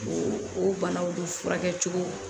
O o banaw be furakɛ cogo